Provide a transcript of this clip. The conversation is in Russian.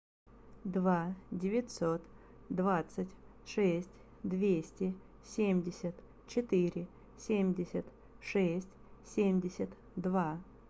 два девятьсот двадцать шесть двести семьдесят четыре семьдесят шесть семьдесят два